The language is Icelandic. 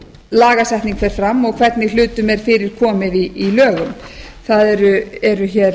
lagasetning fer fram og hvernig hlutum er fyrirkomið í lögum það eru hér